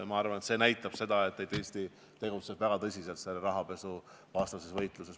Ma arvan, et see näitab seda, et Eesti tegutseb rahapesuvastases võitluses väga tõsiselt.